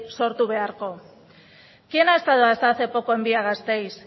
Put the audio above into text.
sortu beharko quién ha estado hasta hace poco en via gasteiz